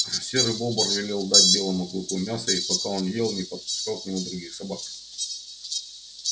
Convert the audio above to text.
серый бобр велел дать белому клыку мяса и пока он ел не подпускал к нему других собак